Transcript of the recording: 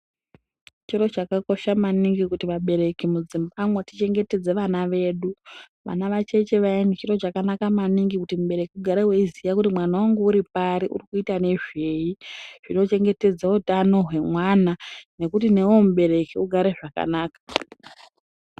Chiro chakakosha maningi kuti vabereki mudzimba umo tichengetedze vedu. Vana vacheche vayani chiro chakanaka maningi kuti mubereki ugare weiziya kuti mwana wangu uripari, urikuita nezvei. Zvinochengetedza utano hwemwana nekuti newewo mubereki ugare zvakanaka.